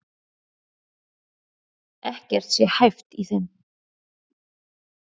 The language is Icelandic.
Ekkert sé hæft í þeim